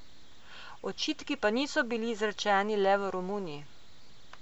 Očitki pa niso bili izrečeni le v Romuniji.